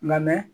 Nka mɛ